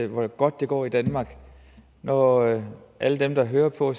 hvor godt det går i danmark når alle dem der hører på